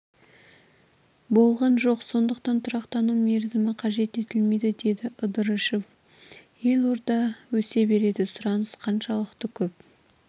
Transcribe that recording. болған жоқ сондықтан тұрақтану мерзімі қажет етілмейді деді ыдрышев елорда өсе береді сұраныс қаншалықты көп